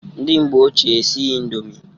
Ndị mgbe ochie esighi indomi.